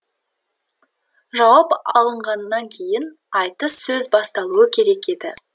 жауап алынғаннан кейін айтыс сөз басталуы керек еді